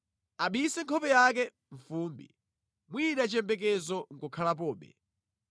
Abise nkhope yake mʼfumbi mwina chiyembekezo nʼkukhalapobe.